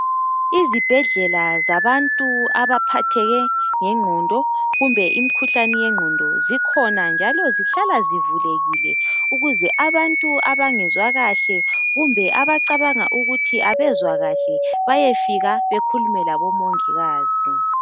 Izibhedlela zabantu abaphatheke nge ngqondo kumbe imikhuhlane yenngqondo zikhona njalo zihlala zivulekile ukuze abantu anbangezwa kahle kumbe abacabanga ukuthi abezwa kahle bayefika bakhulume labomongikazi.